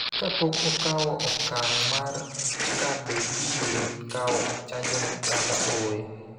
kapok okawo okang� mar ka be gibiro kawo chanjono kata ooyo.